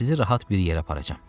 Sizi rahat bir yerə aparacam.